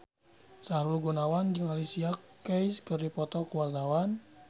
Sahrul Gunawan jeung Alicia Keys keur dipoto ku wartawan